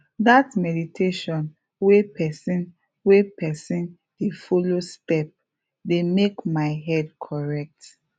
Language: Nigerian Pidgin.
that meditation wey person wey person dey follow step dey make my head correct